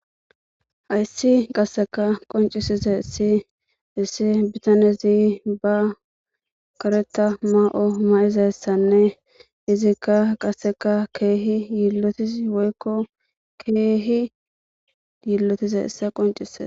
hayssi qasseka qoncisize issi issi bitanezi ba kareta ma7o ma7izassanne izikka qasseka keehi yiillotis woykko keehi yiillotize issa qoncise